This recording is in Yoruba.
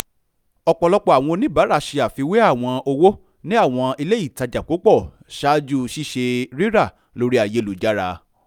ọ̀pọ̀lọpọ̀ àwọn oníbàrà ṣe afiwé àwọn owó ní àwọn ilé-ìtajà púpọ̀ ṣáájú ṣíṣe rírà lórí ayélujára